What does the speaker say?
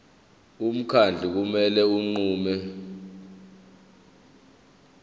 umkhandlu kumele unqume